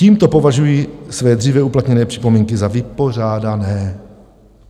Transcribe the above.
Tímto považuji své dříve uplatněné připomínky za vypořádané."